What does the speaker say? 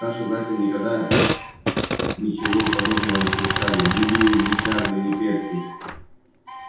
старшие братья никогда ничего подобного не совершали ни билл ни чарли ни перси